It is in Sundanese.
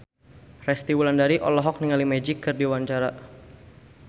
Resty Wulandari olohok ningali Magic keur diwawancara